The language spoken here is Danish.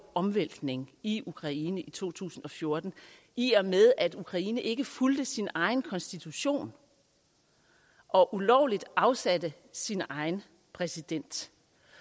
omvæltning i ukraine i to tusind og fjorten i og med at ukraine ikke fulgte sin egen konstitution og ulovligt afsatte sin egen præsident